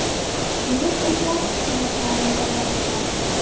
Keyin esa suratlarni birlashtiradi.